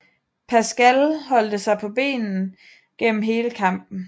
Pascal holdt sig på benene gennem hele kampen